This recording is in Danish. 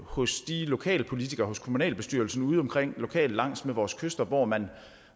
hos de lokale politikere hos kommunalbestyrelsen ude lokalt langs med vores kyster hvor man